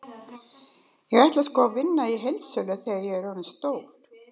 Ég ætla sko að vinna í heildsölu þegar ég er orðinn stór.